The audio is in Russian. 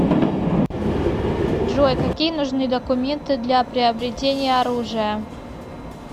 джой какие нужны документы для приобретения оружия